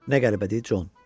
Nə qəribədir, Con.